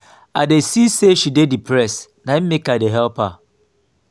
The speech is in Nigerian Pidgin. i see sey she dey depressed na im make i dey help her.